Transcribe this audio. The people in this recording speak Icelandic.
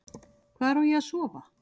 Hvar á ég að sofa?